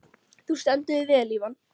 Þú stendur þig vel, Ívan!